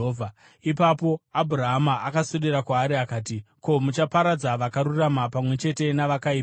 Ipapo Abhurahama akaswedera kwaari akati, “Ko, muchaparadza vakarurama pamwe chete navakaipa here?